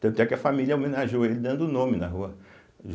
Tanto é que a família homenageou ele dando o nome na rua.